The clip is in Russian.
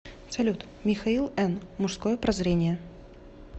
салют михаил н мужское прозрение